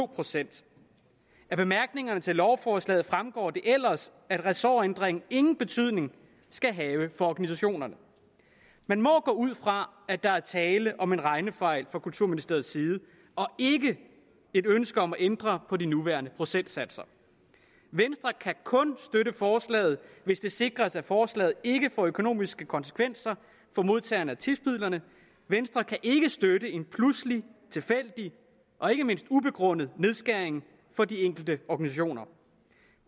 procent af bemærkningerne til lovforslaget fremgår det ellers at ressortændring ingen betydning skal have for organisationerne man må gå ud fra at der er tale om en regnefejl fra kulturministeriets side og ikke et ønske om at ændre på de nuværende procentsatser venstre kan kun støtte forslaget hvis det sikres at forslaget ikke får økonomiske konsekvenser for modtagerne af tipsmidlerne venstre kan ikke støtte en pludselig tilfældig og ikke mindst ubegrundet nedskæring for de enkelte organisationer